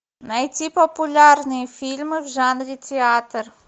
найти популярные фильмы в жанре театр